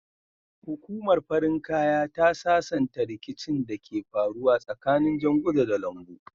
Hukumar farin kaya ta sasanta ricikin da ke faruwa tsakanin janguza da lambu